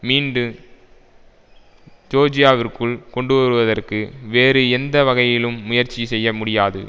மீண்டு ஜோர்ஜியாவிற்குள் கொண்டுவருவதற்கு வேறு எந்த வகையிலும் முயற்சி செய்ய முடியாது